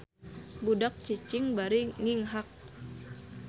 Budak cicing bari nginghak